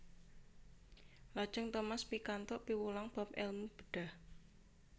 Lajeng Thomas pikantuk piwulang bab èlmu bedhah